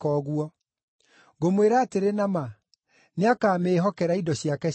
Ngũmwĩra atĩrĩ na ma, nĩakamĩĩhokera indo ciake ciothe.